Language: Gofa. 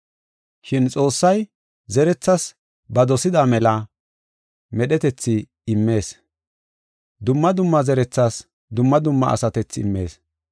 Shin Xoossay zerethaas ba dosida mela medhetethi immees. Dumma dumma zerethaas dumma dumma asatethi immees.